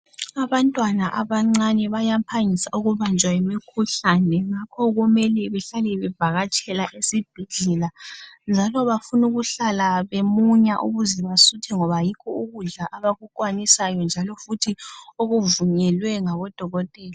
Abantwana abancane bayaphangisa ukubanjwa yimikhuhlane, ngakho kumele bahlale bevakatshela ezibhedlela. Kumele behlale bemunya ukuze basuthe ngoba yikho ukudla kwabo abakukwanisayo njalo okuvunyelwe ngodokotela.